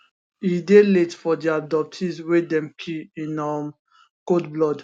e dey late for di abductees wey dem kill in um cold blood